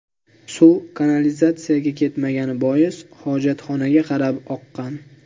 Suv kanalizatsiyaga ketmagani bois, hojatxonaga qarab oqqan.